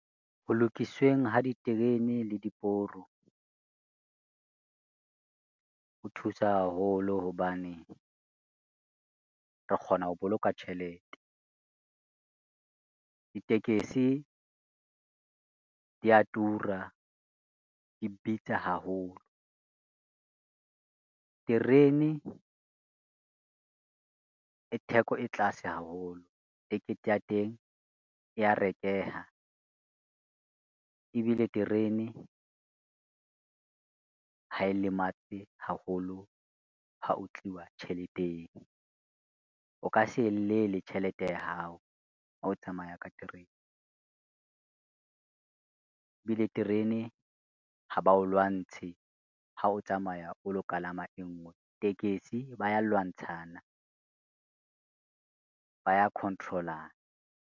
Ho lokisweng ho diterene le diporo, ho thusa haholo hobane re kgona ho boloka tjhelete. Ditekesi di ya tura di bitsa haholo. Terene, e theko e tlase haholo ticket ya teng e ya rekeha ebile terene, ha e lematse haholo ha ho tliwa tjheleteng, o ka se llele tjhelete ya hao ha o tsamaya ka terene. Ebile terene ha ba o lwantshe ha o tsamaya o lo kalama e ngwe, tekesi ba ya lwantshana, ba ya control-ana.